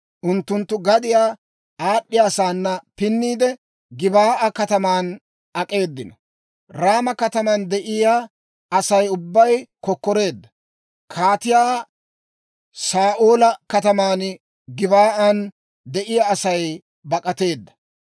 Unttunttu gadiyaa aad'd'iyasaana pinniide, Gebaa'a kataman ak'eedino. Raama kataman de'iyaa Asay ubbay kokkoreedda; kaatiyaa Saa'oola kataman Gib"an de'iyaa asaykka bak'ateedda.